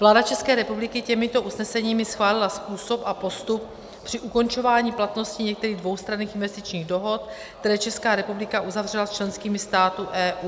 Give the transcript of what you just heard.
Vláda České republiky těmito usneseními schválila způsob a postup při ukončování platnosti některých dvoustranných investičních dohod, které Česká republika uzavřela s členskými státy EU.